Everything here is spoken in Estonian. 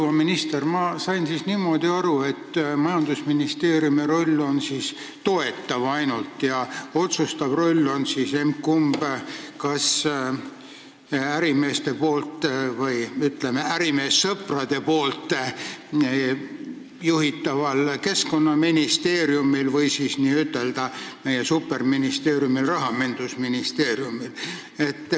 Proua minister, ma sain niimoodi aru, et majandusministeeriumi roll on ainult toetav ja otsustav roll on kas, ütleme, ärimeessõprade poolt juhitaval Keskkonnaministeeriumil või siis n-ö meie superministeeriumil Rahandusministeeriumil.